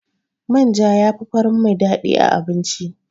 Manja yafi farin mai daɗi a abinci.